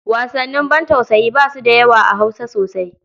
Wasannin bantausayi ba su da yawa a Hausa sosai.